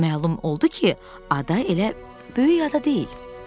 Məlum oldu ki, ada elə böyük ada deyil.